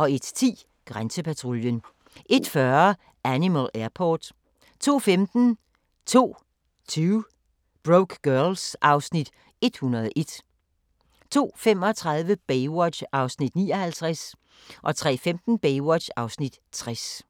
01:10: Grænsepatruljen 01:40: Animal Airport 02:15: 2 Broke Girls (Afs. 101) 02:35: Baywatch (59:243) 03:15: Baywatch (60:243)